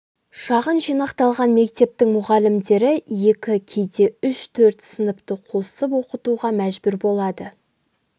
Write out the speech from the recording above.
шағын жинақталған мектептің мұғалімдері екі кейде үш төрт сыныпты қосып оқытуға мәжбүр болады